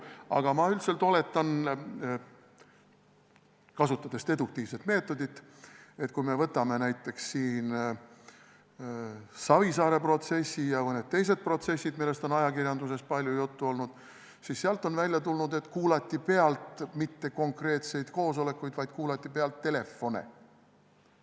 Aga ma üldiselt oletan, kasutades deduktiivset meetodit, et kui me võtame näiteks Savisaare protsessi ja mõned teised protsessid, millest on ajakirjanduses palju juttu olnud, siis on välja tulnud, et ei kuulatud pealt mitte konkreetseid koosolekuid, vaid kuulati pealt telefone.